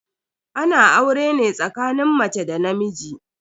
Ana aure ne tsakanin mace da namiji.